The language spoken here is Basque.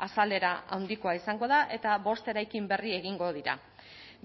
azalera handikoa izango da eta bost eraikin berri egingo dira